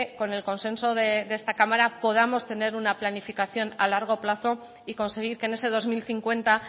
con el consenso de esta cámara podamos tener una planificación a largo plazo y conseguir que en ese dos mil cincuenta